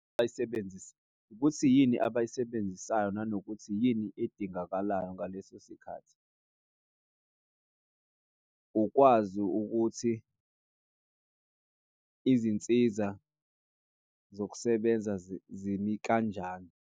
Ukuthi yini abayisebenzisayo nanokuthi yini edingakalayo ngaleso sikhathi. Ukwazi ukuthi izinsiza zokusebenza zimi kanjani.